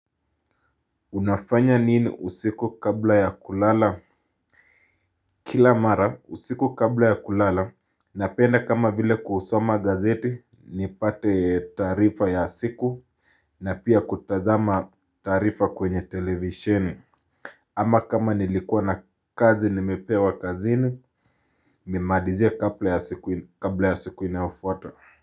Unafanya nini usiku kabla ya kulala? Kila mara usiku kabla ya kulala Napenda kama vile kuhusoma gazeti ni pate taarifa ya siku na pia kutazama taarifa kwenye televisheni Ama kama nilikuwa na kazi nimepewa kazini Mimalize kabla ya siku inayofuata.